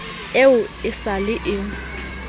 eo e sa le e